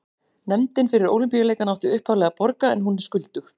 Nefndin fyrir Ólympíuleikana átti upphaflega að borga en hún er skuldug.